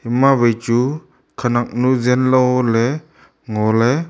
ma wai chu khanak nu jenlo le ngo le.